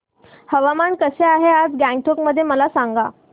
हवामान कसे आहे आज गंगटोक मध्ये मला सांगा